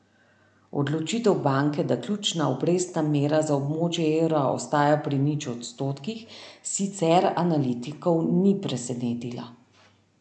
Odločitev banke, da ključna obrestna mera za območje evra ostaja pri nič odstotkih, sicer analitikov ni presenetila.